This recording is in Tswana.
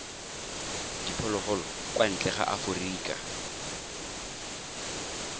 diphologolo kwa ntle ga aforika